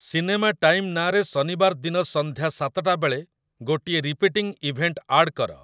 cinema time ନାଁରେ ଶନିବାର ଦିନ ସନ୍ଧ୍ୟା ସାତଟା ବେଳେ ଗୋଟିଏ ରିପିଟିଂ ଇଭେଣ୍ଟ୍ ଆଡ୍ କର